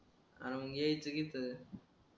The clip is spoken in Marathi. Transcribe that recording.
अर मंग यायचं कि इथं